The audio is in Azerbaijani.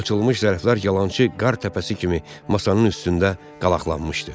Açılmış zərflər yalançı qartəpəsi kimi masanın üstündə qalaqlanmışdı.